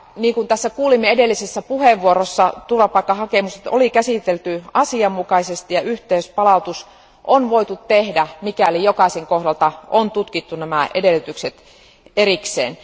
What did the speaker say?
Kuten kuulimme edellisessä puheenvuorossa, turvapaikkahakemukset oli käsitelty asianmukaisesti ja yhteispalautus on voitu tehdä, mikäli jokaisen kohdalla on tutkittu nämä edellytykset erikseen.